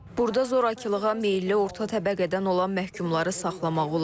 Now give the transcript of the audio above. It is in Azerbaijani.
Burda zorakılığa meyilli orta təbəqədən olan məhkumları saxlamaq olar.